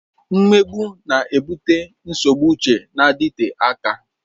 Mmegbu na-ebute nsogbu uche na-adịte aka.